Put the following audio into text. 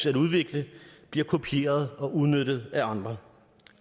at udvikle bliver kopieret og udnyttet af andre